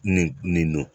Nin nin nin